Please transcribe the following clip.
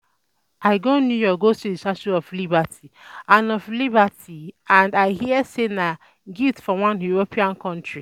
I go New York go see the statue of Liberty and of Liberty and I hear say na gift from one European country